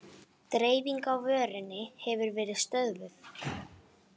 Dreifing á vörunni hefur verið stöðvuð